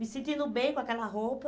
Me sentindo bem com aquela roupa,